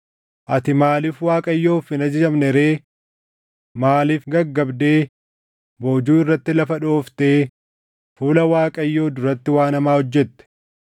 Ati maaliif Waaqayyoof hin ajajamne ree? Maaliif gaggabdee boojuu irratti lafa dhooftee fuula Waaqayyoo duratti waan hamaa hojjette?”